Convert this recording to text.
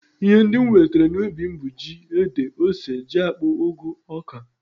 Ihe ndị m nwetara n'ubi m bụ ji, ede, ose, jiakpụ, ụgụ, oka